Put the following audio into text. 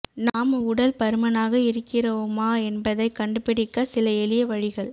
நாம் உடல் பருமனாக இருக்கிறோமா என்பதைக் கண்டுபிடிக்க சில எளிய வழிகள்